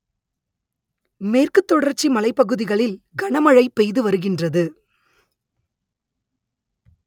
மேற்கு தொடர்ச்சி மலைப்பகுதிகளில் கனமழை பெய்து வருகின்றது